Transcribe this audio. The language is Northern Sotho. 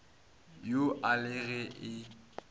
yo a le ge e